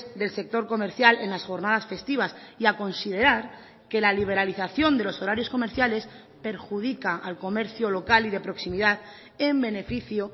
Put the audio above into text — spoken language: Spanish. del sector comercial en las jornadas festivas y a considerar que la liberalización de los horarios comerciales perjudica al comercio local y de proximidad en beneficio